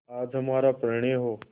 आज हमारा परिणय हो